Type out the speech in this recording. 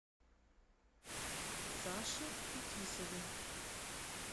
саше фетисове